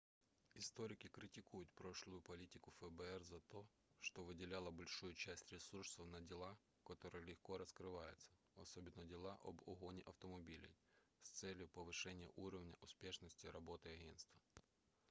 историки критикуют прошлую политику фбр за то что выделяла большую часть ресурсов на дела которые легко раскрываются особенно на дела об угоне автомобилей с целью повышения уровня успешности работы агентства